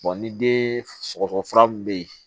ni den sɔgɔsɔgɔ fura min be yen